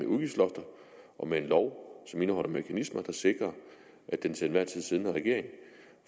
udgiftslofter og med en lov som indeholder mekanismer der sikrer at den til enhver tid siddende regering